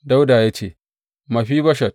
Dawuda ya ce, Mefiboshet!